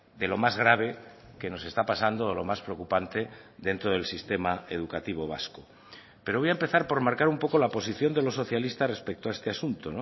de lo más grave que nos está pasando o lo más preocupante dentro del sistema educativo vasco pero voy a empezar por marcar un poco la posición de los socialistas respecto a este asunto